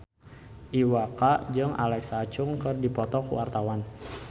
Iwa K jeung Alexa Chung keur dipoto ku wartawan